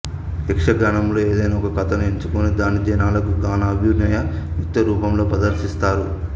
యక్షగానములో ఏదైనా ఒక కథను ఎంచుకొని దాన్ని జనాలకు గాన అభినయ నృత్య రూపాలలో ప్రదర్శిస్తారు